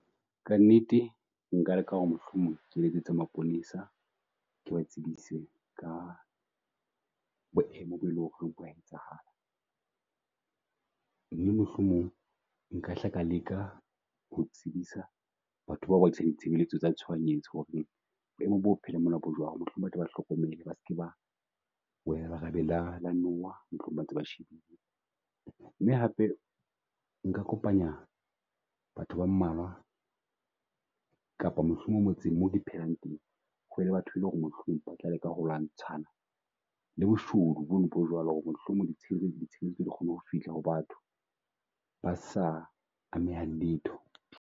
Ka nnete nka leka ho re mohlomong ke letsetsa mapolesa ke ba tsebise ka boemo bo e leng ho re bo a etsahala. Mme mohlomong nka hla ka leka ho tsebisa batho bao ba ditshebeletso tsa tshohanyetso ho re boemo bo mona bo jwalo. Mohlomong ba tle ba hlokomele ba seke ba wela lerabe la la nowa mohlomong ba ntse ba shebile. Mme hape nka kopanya batho ba mmalwa kapa mohlomong motseng mo ke phelang teng, ho be le batho e leng ho re mohlomong ba tla leka ho lwantshana le boshodu bo no bo jwalo ho re mohlomong di ditshebeletso di kgone ho fihla ho batho, ba sa amehang letho.